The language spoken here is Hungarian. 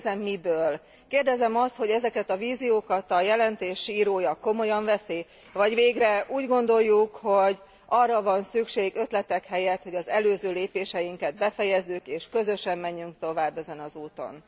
Kérdezem miből? Kérdezem azt, hogy ezeket a víziókat a jelentés írója komolyan veszi, vagy végre úgy gondoljuk, hogy arra van szükség ötletek helyett, hogy az előző lépéseinket befejezzük és közösen menjünk tovább ezen az úton.